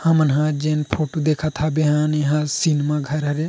हमन हा जेन फोटो देखत हाबे एहा सिनेमा घर हाबे --